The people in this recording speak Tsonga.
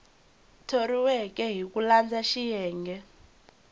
thoriweke hi ku landza xiyenge